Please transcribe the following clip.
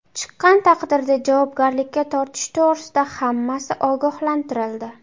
Chiqqan taqdirda javobgarlikka tortish to‘g‘risida hammasi ogohlantirildi.